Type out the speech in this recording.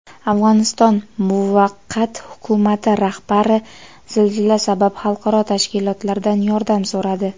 Afg‘oniston muvaqqat hukumati rahbari zilzila sabab xalqaro tashkilotlardan yordam so‘radi.